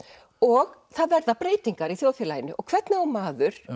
og það verða breytingar í þjóðfélaginu og hvernig á maður